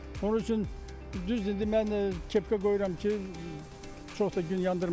Onun üçün, düzdür, indi mən kepka qoyuram ki, çox da gün yandırmasın.